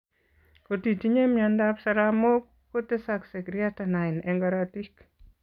Kotitinye miondab saramook kotesaksei creatinine eng' korotiik